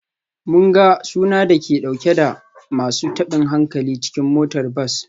Mun ga suna dauke da masu tabin hankali cikin motar bas.